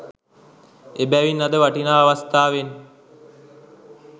එබැවින් ලද වටිනා අවස්ථාවෙන්